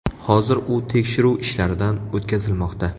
Hozir u tekshiruv ishlaridan o‘tkazilmoqda.